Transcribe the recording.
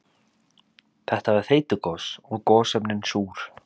Þetta var þeytigos og gosefnin súr.